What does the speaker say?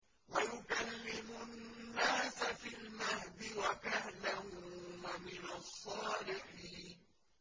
وَيُكَلِّمُ النَّاسَ فِي الْمَهْدِ وَكَهْلًا وَمِنَ الصَّالِحِينَ